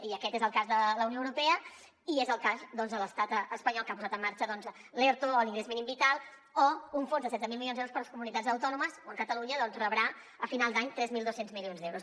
i aquest és el cas de la unió europea i és el cas doncs de l’estat espanyol que ha posat en marxa l’erto o l’ingrés mínim vital o un fons de setze mil milions d’euros per a les comunitats autònomes on catalunya rebrà a final d’any tres mil dos cents milions d’euros